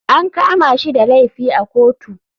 An kama shi da laifi a kotu.